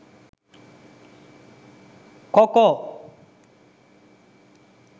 coco